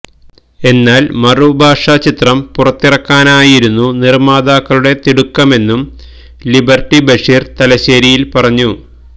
എന്നാല് മറുഭാഷാ ചിത്രം പുറത്തിറക്കാനായിരുന്നു നിര്മാതാക്കളുടെ തിടുക്കമെന്നും ലിബര്ട്ടി ബഷീര് തലശേരിയില് പറഞ്ഞു